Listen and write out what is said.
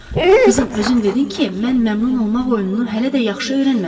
Qızım, özün dedin ki, mən məmnun olmaq oyununu hələ də yaxşı öyrənməmişəm.